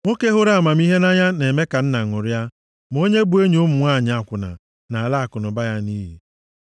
Nwoke hụrụ amamihe nʼanya na-eme ka nna ṅụrịa, ma onye bụ enyi ụmụ nwanyị akwụna, na-ala akụnụba ya nʼiyi.